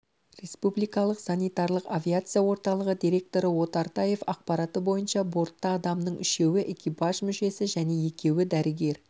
республикалық санитарлық авиация орталығы директоры отартаев ақпараты бойынша бортта адамның үшеуі экипаж мүшесі және екеуі дәрігер